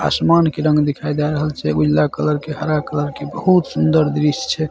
आसमान के रंग दिखाई दे रहल छै उजला कलर के हरा कलर के बहुत सुन्दर दृश्य छै।